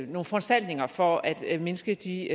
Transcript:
nogle foranstaltninger for at at mindske de